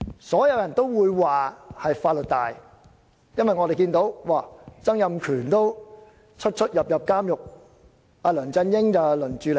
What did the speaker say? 所有人也會說是法律大，因為連前特首曾蔭權也多次出入監獄，或許即將輪到梁振英。